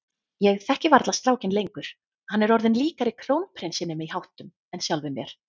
Ég þekki varla strákinn lengur, hann er orðinn líkari krónprinsinum í háttum en sjálfum mér.